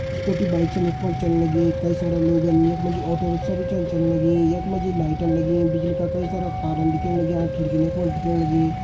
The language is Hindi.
स्कूटी बाइक छन यख फण चन्न लगीं कई सारा लोगन यख मजी ऑटो रिक्शा भी छन चन्न लगीं यख मजी लाइटन लगीं बिजली का कई सारा तारम दिखेण लग्यां खिड़की न यख फण दिखेण लगीं।